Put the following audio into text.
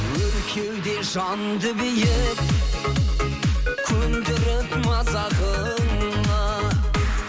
өр кеуде жанды биік көндіріп мазағыңа